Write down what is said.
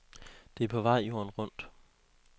Det er på vej jorden rundt.